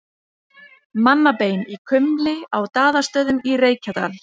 Mannabein í kumli á Daðastöðum í Reykjadal.